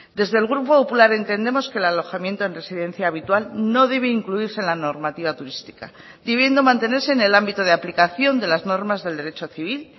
desde el grupo popular entendemos que el alojamiento en residencia habitual no debe incluirse en la normativa turística debiendo mantenerse en el ámbito de aplicación de las normas del derecho civil